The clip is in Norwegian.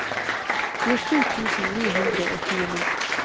tjuesju tusen ni hundre og tjueni